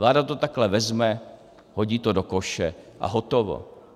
Vláda to takhle vezme, hodí to do koše a hotovo.